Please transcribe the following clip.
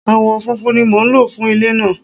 Awọ funfun ni mo nlo fun ile naa